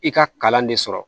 I ka kalan de sɔrɔ